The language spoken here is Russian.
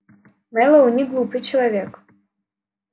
мэллоу неглупый человек